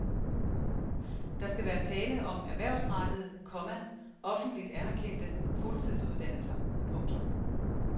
Der skal være tale om erhvervsrettede, komma offentligt anerkendte fuldtidsuddannelser. punktum